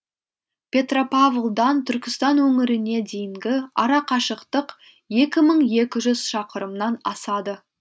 петропавлдан түркістан өңіріне дейінгі арақашықтық екі мың екі жүз шақырымнан асады